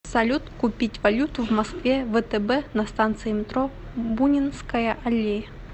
салют купить валюту в москве втб на станции метро бунинская аллея